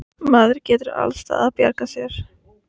Maður getur alls staðar bjargað sér.